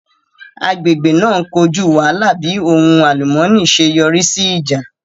Agbègbè náà ń kojú wàhálà bí ohun àlùmọ́ọ́nì ṣe yọrí sí ìjà